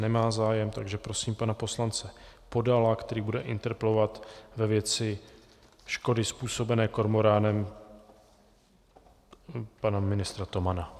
Nemá zájem, takže prosím pana poslance Podala, který bude interpelovat ve věci škody způsobené kormoránem pana ministra Tomana.